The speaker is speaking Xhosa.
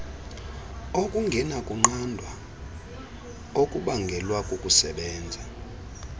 okungenakunqandwa okubangelwa kukusebenza